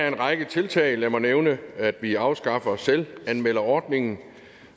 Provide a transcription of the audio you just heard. en række tiltag lad mig nævne at vi afskaffer selvanmelderordningen